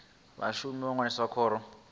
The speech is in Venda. vhashumi u ṅwalisa khoro ya